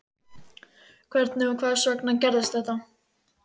Hvernig og hvers vegna gerðist þetta?